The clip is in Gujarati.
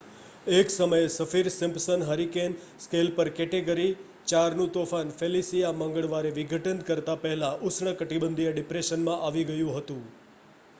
એક સમયે સફીર-સિમ્પસન હરિકેન સ્કેલ પર કેટેગરી 4નું તોફાન ફેલિસિયા મંગળવારે વિઘટન કરતા પહેલા ઉષ્ણકટિબંધીય ડિપ્રેશનમાં આવી ગયું હતું